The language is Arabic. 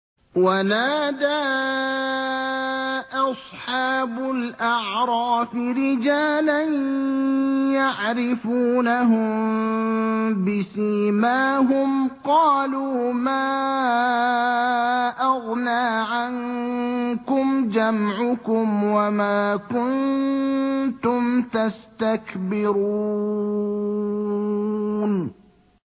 وَنَادَىٰ أَصْحَابُ الْأَعْرَافِ رِجَالًا يَعْرِفُونَهُم بِسِيمَاهُمْ قَالُوا مَا أَغْنَىٰ عَنكُمْ جَمْعُكُمْ وَمَا كُنتُمْ تَسْتَكْبِرُونَ